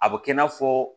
A bɛ kɛ i n'a fɔ